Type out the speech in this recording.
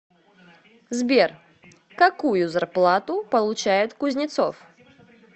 сбер какую зарплату получает кузнецов